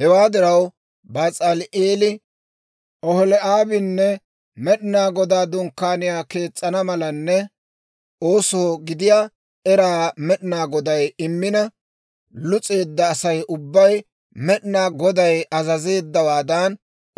«Hewaa diraw, Bas'aali'eeli, Oholi'aabinne Med'inaa Godaa Dunkkaaniyaa kees's'ana malanne oosoo gidiyaa eraa Med'inaa Goday immina, lus'eedda Asay ubbay Med'inaa Goday azazeeddawaadan